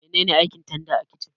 Mene ne aikin tanda a kicin?